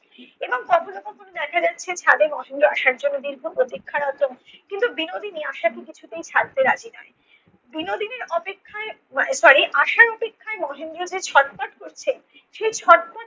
এবং কখনও কখনও দেখা যাচ্ছে ছাদে মহেন্দ্র আশার জন্য দীর্ঘ প্রতীক্ষারত কিন্তু বিনোদিনী আশাকে কিছুতেই ছাড়তে রাজি নয়। বিনোদিনীর অপেক্ষায় আহ sorry আশার অপেক্ষায় মহেন্দ্র যে ছটফট করছে সেই ছটফট